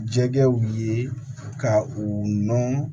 Jɛgɛw ye ka u nɔn